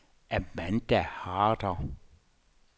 Amanda Harder